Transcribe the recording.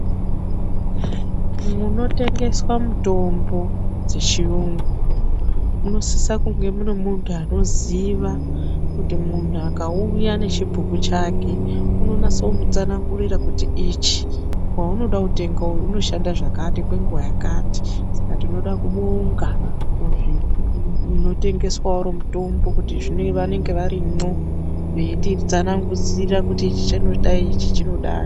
Munotengeswa mitombo dzechiyungu munosisa kunge mune mundu anoziva kuti mundu akauya nechibhuku chake unonase kumutsanangurira kuti ichi waunoda kutenga uwu unoshanda zvakati kwenguva yakati saka tinoda kubonga muzvi munotengeswa Uri mutombo kuti zvimwe vanenge varimwo veyititsanangudzira kuti ichi chinodai ichi chinodai.